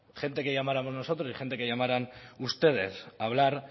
gente que llamáramos nosotros y gente que llamaran ustedes a hablar